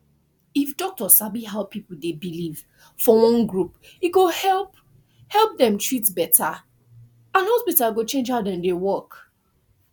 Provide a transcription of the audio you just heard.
if doctor sabi how people dey believe for one group e go help help dem treat better and hospital go change how dem dey work